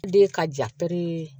De ka ja piri